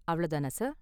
அவ்ளோ தானா சார்?